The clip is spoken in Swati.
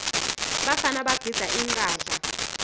bafana bagidza inqadla